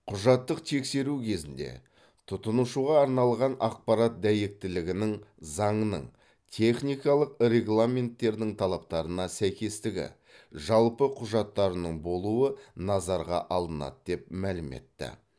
құжаттық тексеру кезінде тұтынушыға арналған ақпарат дәйектілігінің заңның техникалық регламенттердің талаптарына сәйкестігі жалпы құжаттарының болуы назарға алынады деп мәлім етті